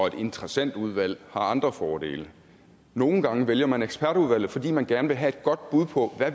et interessentudvalg har andre fordele nogle gange vælger man ekspertudvalget fordi man gerne vil have et godt bud på